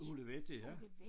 Olivetti ja